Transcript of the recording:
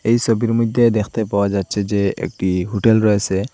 এই সোবির মইদ্যে দেখতে পাওয়া যাচ্ছে যে একটা হুটেল রয়েসে।